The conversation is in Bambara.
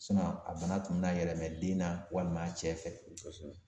sinɔn a bana tun bi na yɛlɛma den na walima a cɛ fɛ kosɛbɛ